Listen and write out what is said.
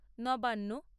Nabanna